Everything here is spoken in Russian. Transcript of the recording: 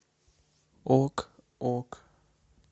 ок ок